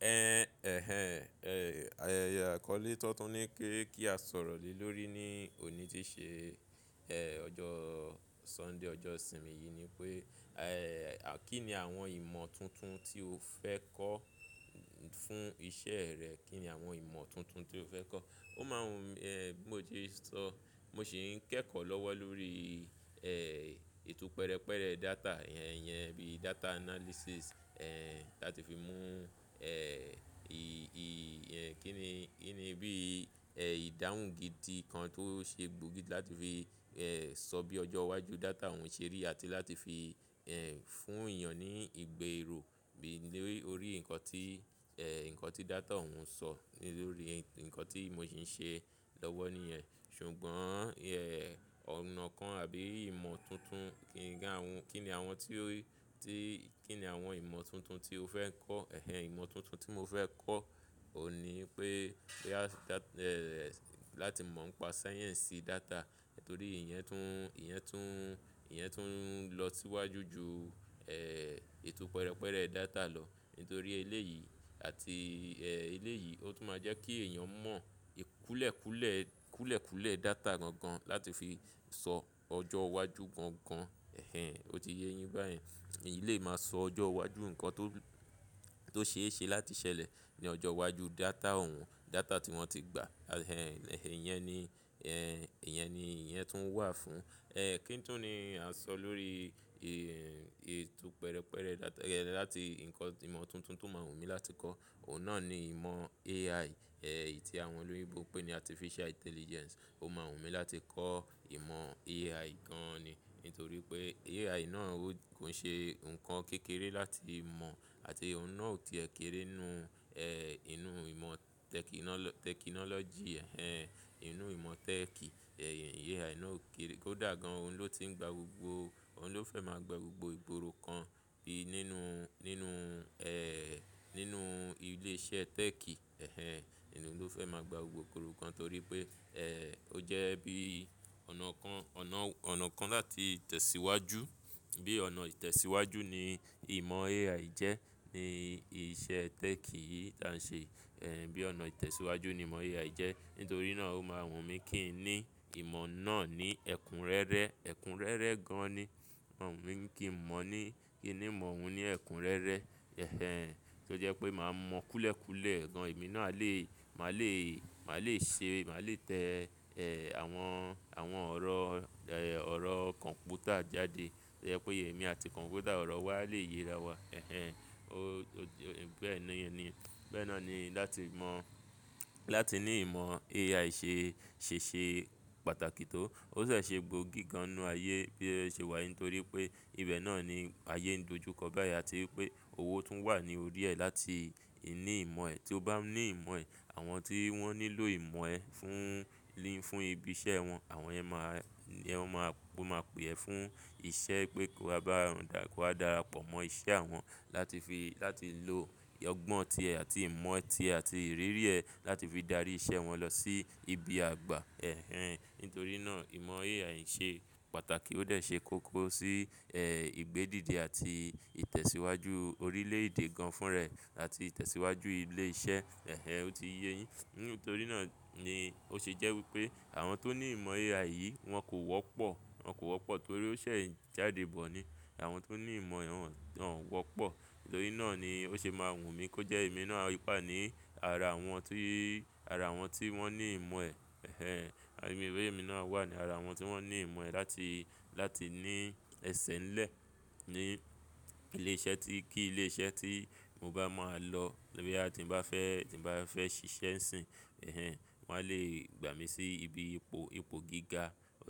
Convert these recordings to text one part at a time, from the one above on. Ẹhẹn, ayẹyẹ àkọ́lé tọ́ntún ní kí kí a sọ̀rọ̀ lè lórí ní òní tí ṣe, ẹjọ́ Sunday, ọjọ́ ìsinmi yìí ni pé, à kín ni àwọn ìmọ̀ tuntun tí o fẹ́ kọ́ fún iṣẹ́ rẹ, kín ni àwọn ìmọ̀ tuntun tí o fẹ́ kọ́? Ó máa ń ẹ́ bí mo ti sọ, mo sì ń kẹ́kọ̀ọ́ lọ́wọ́ lórí ẹ́ ètò pẹrẹpẹrẹ data yẹn yẹn bí data analysis, ẹ́ láti fi mú ẹ́ fún iṣẹ́ rẹ, kín ni àwọn ìmọ̀ tuntun tí o fẹ́ kọ́? Ìdáhùn gidi kan tó ṣe gbòógì láti fi ẹ́ sọ bí ọjọ́ iwájú data òun ṣe rí àti láti fi ẹ́ fún èèyàn ní ìgbé èrò bí lórí nǹkan tí ẹ́ nǹkan tí data òun sọ lórí nǹkan tí mo sì ń ṣe lọ́wọ́ níyẹn. Ṣùgbọ́n ẹ́ ọ̀nà kan àbí ìmọ̀ tuntun kí n ga àwọn kín ni àwọn tí ó ti kín ni àwọn ìmọ̀ tuntun tí o fẹ́ kọ́? Ẹ̀hẹn, ìmọ̀ tuntun tí mo fẹ́ kọ́ òní pé pé a da ẹ́ láti mọ̀ ń pa sáyẹ́ǹsì data torí ìyẹn tún ìyẹn tún ìyẹn tún ń lọ síwájú ju ẹ́ ètò pẹrẹpẹrẹ data lọ nítorí eléyìí àti ẹ́ eléyìí ó tún máa jẹ́ kí èèyàn mọ̀ ì kúlẹ̀kúlẹ̀ kúlẹ̀kúlẹ̀ data gan-gan láti fi sọ ọjọ́ iwájú gan-gan. Ẹ̀hẹn, ó ti yé yín báyẹ̀n. Èyí lè máa sọ ọjọ́ iwájú nǹkan tó tó ṣeéṣe láti ṣẹlẹ̀ ní ọjọ́ iwájú data òun, data tí wọ́n ti gbà. Ẹ̀hẹn, ẹ́hẹn, ìyẹn ni ẹ́ ìyẹn ni ìyẹn tún wà fún. Ẹ́ kí n tún ni a sọ lórí i ètò pẹrẹpẹrẹ data láti nǹkan ìmọ̀ tuntun tó máa wù mí láti kọ́, òun náà ni ìmọ̀ AI, ẹ́ ì tí àwọn olóyinbo pé ní artificial intelligence. Ó máa wù mí láti kọ́ ìmọ̀ AI gan-an ni nítorí pé AI náà ó kàn ṣe ǹkan kékeré láti mọ̀ àti òun náà ò ti ẹ̀ kéré nínú ẹ́ inú ìmọ̀ tẹki ńnọ́ lọ tẹkinọ́lọ́jì ẹ́hẹn inú ìmọ̀ tech. Ẹ̀hẹn, AI náà ò kéré kó dà gan-an òun ló ti ń gba gbogbo òun ló fẹ́ máa gba gbogbo ìgboro kan bí nínú nínú ẹ́ nínú ilé iṣẹ́ tech. Ẹ̀hẹn, òun ló fẹ́ máa gba gbogbo ìgboro kan torí pé ẹ́ ó jẹ́ bí ọ̀nà kan ọ̀nà ọ̀nà kan láti tẹ̀síwájú bí ọ̀nà ìtẹ̀síwájú ni ìmọ̀ AI jẹ́ ní iṣẹ́ tech yìí tá ń ṣe. Ẹ̀hẹn, bí ọ̀nà ìtẹ̀síwájú ni ìmọ̀ AI jẹ́. Nítorí náà ó máa wù mí kí n ní ìmọ̀ náà ní ẹ̀kúnrẹ́rẹ́, ẹ̀kúnrẹ́rẹ́ gan-an ni ó wù mí kí n mọ̀ ní kí ni mọ̀ òun ní ẹ̀kúnrẹ́rẹ́. Ẹ̀hẹn, tó jẹ́ pé màá mu kúlẹ̀kúlẹ̀ gan-an. Èmi náà a lè màá lè màá lè ṣe màá lè tẹ ẹ́ àwọn àwọn ọ̀rọ̀ ẹ́ ọ̀rọ̀ kọ̀m̀pútà jáde. Tó jẹ́ pé èmi àti kọ̀m̀pútà ọ̀rọ̀ wa lè yé ara wa. Ẹ̀hẹn, ó ó bẹ́ẹ̀ ẹ́ni bẹ́ẹ̀ náà ni láti mọ̀ láti ní ìmọ̀ AI ṣe ṣèṣe pàtàkì tó. O se ṣe gbòógì gan-an nínú ayé bí o ṣe wà nítorí pé ibẹ̀ náà ni ayé ń dojú kọ báyìí àti pé owó tún wà ní orí ẹ́ láti ní ìmọ̀ ẹ́. Tí o bá ní ìmọ̀ ẹ́, àwọn tí wọ́n nílò ìmọ̀ ẹ́ fún lí fún ibi iṣẹ́ wọn, àwọn yẹn máa yẹn máa máa pè ẹ́ fún iṣẹ́ pé kó bá a dà kówa dára pọ̀ mọ́ iṣẹ́ àwọn láti fi láti lo ọgbọ́n tí ẹ àti ìmọ̀ ẹ́ tí àti ìrírí ẹ́ láti fi dárí iṣẹ́ wọn lọ sí ibi àgbà. Ẹ̀hẹn, nítorí náà ìmọ̀ AI ṣe pàtàkì ó dẹ̀ ṣe kókó sí ẹ́ ìgbé dìde àti ìtẹ̀síwájú orílẹ̀ èdè gan-an fún rẹ́ ẹ̀ àti ìtẹ̀síwájú ilé iṣẹ́. Ẹ̀hẹn, ó ti yé yín. Nítorí náà ni ó ṣe jẹ́ wípé àwọn tó ní ìmọ̀ AI yìí wọn kò wọ́pọ̀. Wọn kò wọ́pọ̀ torí ó ṣẹ̀ jáde bọ̀ ni. Àwọn tó ní ìmọ̀ òun wọ́n wọ́pọ̀. Nítorí náà ni ó ṣe máa wù mí kó jẹ́ èmi náà nípa ní ara àwọn tí ara àwọn tí wọ́n ní ìmọ̀ ẹ́. Ẹ̀hẹn, àmi ìwé mi náà wà ní ara àwọn tí wọ́n ní ìmọ̀ ẹ́ láti láti ní ẹsẹ̀ ńlẹ̀ ní ilé iṣẹ́ tí kí ilé iṣẹ́ tí mo bá máa lọ. Bóyá ti ń bá fẹ́ tí ń bá fẹ́ ṣiṣẹ́ ń sìn. Ẹ̀hẹn, wọ́n á lè gbà mí sí ibi ipò ipò gíga.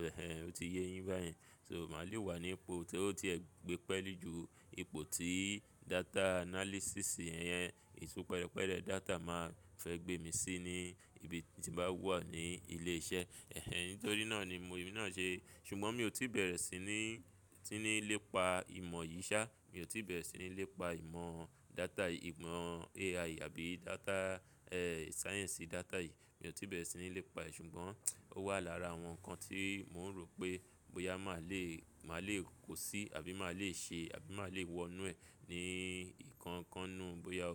Ẹ̀hẹn, ó ti yé yín báyìí. So màá lè wà ní ipò tí ó ti ẹ gbe pẹ́lú ju ipò tí data analysis yẹn ètò pẹrẹpẹrẹ data máa fẹ́ gbé mi sí ní ibi tí bá wà ní ilé iṣẹ́. Ẹ̀hẹn, nítorí náà ni mo èmi náà ṣe. Ṣùgbọ́n mi ò tí bẹ̀rẹ̀ sí ní tí ní lépa ìmọ̀ yìí ṣá. Mi ò tí bẹ̀rẹ̀ sí ní lépa ìmọ̀ data yìí ìmọ̀ AI àbí data ẹ́ sáyẹ́ǹsì data yìí. Mi ò tí bẹ̀rẹ̀ sí ní lépa ẹ́ ṣùgbọ́n ó wà lára àwọn ǹkan tí mò ń rò pé bóyá màá le màá le kó sí àbí màá le ṣe àbí màá le wọnú ẹ́ ní ìkan kan nù bóyá ó.